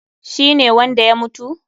Shi ne wanda ya mutu?